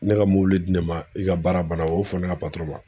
Ne ka mobili di ne ma i ka baara banna o y'o fɔ ne ka ma